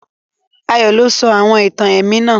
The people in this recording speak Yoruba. Ayó lo sọ àwon ìtàn èmí náà